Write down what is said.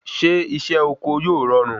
Ṣé isé oko yóò rọrùn?